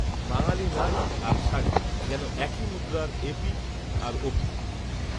বাঙালি নারী আর শাড়ি যেন একই মুদ্রার এপিঠ আর ওপিঠ